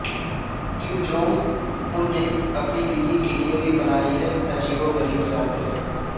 کم Jong Un نے اپنی بیوی کے لئے بھی بنائے ہیں عجیب وغریب ضابطے